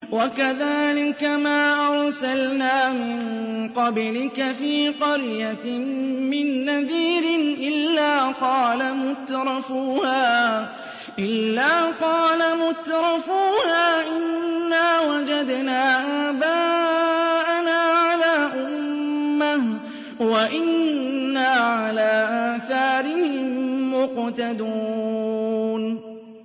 وَكَذَٰلِكَ مَا أَرْسَلْنَا مِن قَبْلِكَ فِي قَرْيَةٍ مِّن نَّذِيرٍ إِلَّا قَالَ مُتْرَفُوهَا إِنَّا وَجَدْنَا آبَاءَنَا عَلَىٰ أُمَّةٍ وَإِنَّا عَلَىٰ آثَارِهِم مُّقْتَدُونَ